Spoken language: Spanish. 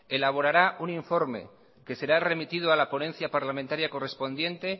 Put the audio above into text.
elaborará un informe que será remitido a la ponencia parlamentaria correspondiente